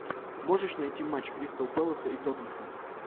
можешь найти матч кристал пэласа и тоттенхэм